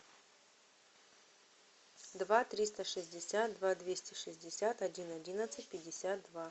два триста шестьдесят два двести шестьдесят один одиннадцать пятьдесят два